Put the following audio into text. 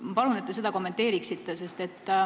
Ma palun, et te seda kommenteeriksite.